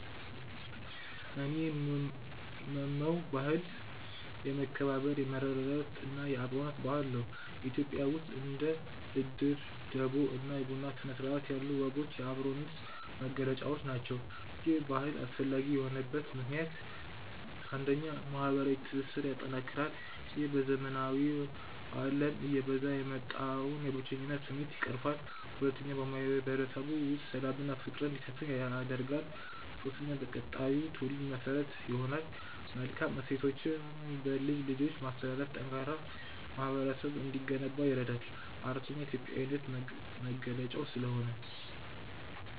እኔ የምመመው ባህል፦ የመከባበር፣ የመረዳዳት እና የአብሮነት ባህል ነው። ኢትዮጵያ ውስጥ እንደ እድር፣ ደቦ እና የቡና ሥነ-ሥርዓት ያሉ ወጎች የአብሮነት መገለጫዎች ናቸው። ይህ ባህል አስፈላጊ የሆነበት ምክንያት፦ 1. ማህበረዊ ትስስርን ያጠናክራል፦ ይህ በዘመናዊው አለም እየበዛ የወጣውን የብቸኝነት ስሜት ይቀርፋል። 2. በማህበረሰቡ ውስጥ ሰላምና ፍቅር እንዲሰፍን ያደርጋል። 3. በቀጣዩ ትውልድ መሠረት ይሆናል፦ መልካም እሴቶችን በልጅ ልጆች ማስተላለፍ ጠንካራ ማህበረሰብ እንዲገነባ ይረዳል። 4. የኢትዮጵያዊነት መገለጫው ስለሆነ።